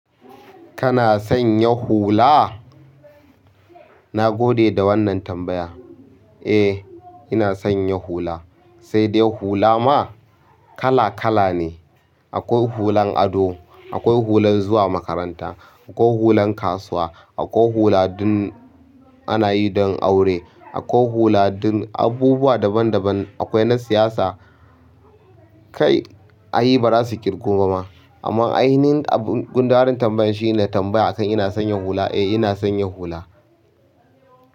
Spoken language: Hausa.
Kana sanya hula? Na gode da wannan tambaya. Eh ina sanya hula, sai dai hula ma kala-kala ne akwai hulan ado, akwai hulan zuwa makaranta, akwai hulan kasuwa, akwai hula ana yi don aure, akwai hula don abubuwa daban-daban, akwai na siyasa. Kai ai ba za su irgu ba ma amma ainihin gundarin tambayan shi ne tambaya a kan ina sanya hula? Eh ina son yi hula.